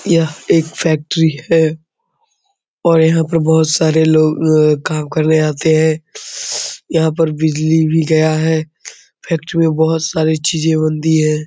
यह एक फैक्ट्री हैं और यहाँ पे बहुत सारे लोग काम करने आते हैं यहाँ पर बिजली भी गया हैं फैक्ट्री में बहुत सारी चीजें बनती हैं।